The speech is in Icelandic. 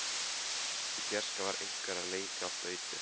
Í fjarska var einhver að leika á flautu.